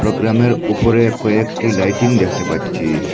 প্রোগ্রামের ওপরে কয়েকটি লাইটিং দেখতে পাচ্ছি।